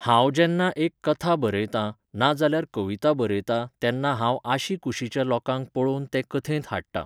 हांव जेन्ना एक कथा बरयतां, ना जाल्यार कविता बरयतां तेन्ना हांव आशी कुशीच्या लोकांक पळोवन तें कथेंत हाडटां.